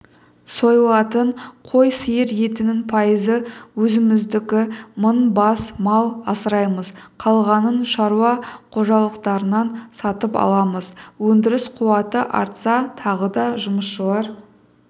сойылатын қой сиыр етінің пайызы өзіміздікі мың бас мал асыраймыз қалғанын шаруа қожалықтарынан сатып аламыз өндіріс қуаты артса тағы да жұмысшылар